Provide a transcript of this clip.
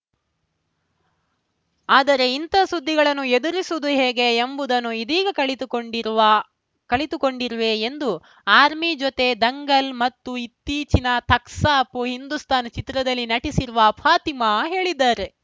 ಆದರೆ ಇಂಥ ಸುದ್ದಿಗಳನ್ನು ಎದುರಿಸುವುದು ಹೇಗೆ ಎಂಬುದನ್ನು ಇದೀಗ ಕಲಿತುಕೊಂಡಿರುವ ಕಲಿತುಕೊಂಡಿರುವೆ ಎಂದು ಅಮೀರ್‌ ಜೊತೆ ದಂಗಲ್‌ ಮತ್ತು ಇತ್ತೀಚಿನ ಥಗ್ಸ್‌ ಆಫ್‌ ಹಿಂದುಸ್ತಾನ್‌ ಚಿತ್ರದಲ್ಲಿ ನಟಿಸಿರುವ ಫಾತಿಮಾ ಹೇಳಿದ್ದಾರೆ